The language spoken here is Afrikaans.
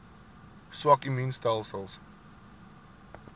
swak immuun stelsels